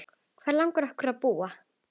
Hvar langar okkur að búa?